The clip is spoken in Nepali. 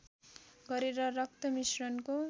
गरेर रक्त मिश्रणको